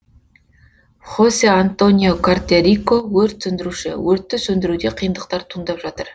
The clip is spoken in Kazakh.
хосе антонио кортеррико өрт сөндіруші өртті сөндіруде қиындықтар туындап жатыр